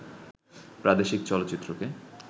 প্রাদেশিক চলচ্চিত্রকে